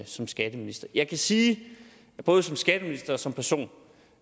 som skatteminister jeg kan sige både som skatteminister og som person